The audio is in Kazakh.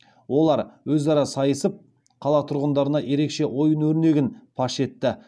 олар өзара сайысып қала тұрғындарына ерекше ойын өрнегін паш етті